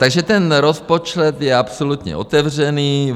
Takže ten rozpočet je absolutně otevřený.